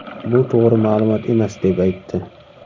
Bu to‘g‘ri ma’lumot emas”, deb aytdi .